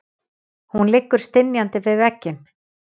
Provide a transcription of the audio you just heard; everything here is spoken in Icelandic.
Hún liggur stynjandi við vegginn.